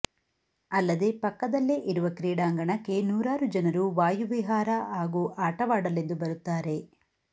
ಅಲ್ಲದೆ ಪಕ್ಕದಲ್ಲೇ ಇರುವ ಕ್ರೀಡಾಂಗಣಕ್ಕೆ ನೂರಾರು ಜನರು ವಾಯು ವಿಹಾರ ಹಾಗೂ ಆಟವಾಡಲೆಂದು ಬರುತ್ತಾರೆ